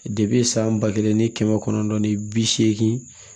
san ba kelen ni kɛmɛ kɔnɔntɔn ni bi seegin